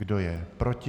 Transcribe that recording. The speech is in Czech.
Kdo je proti?